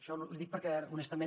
l’hi dic perquè honestament